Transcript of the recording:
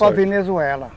Só Venezuela.